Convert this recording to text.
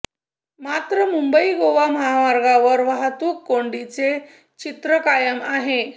मात्र मुंबई गोवा महामार्गावर वाहतूक कोंडीचे चित्र कायम आहे